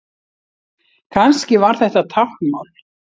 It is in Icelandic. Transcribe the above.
Kannski var þetta táknmál?